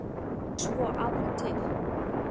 Og svo aðra til.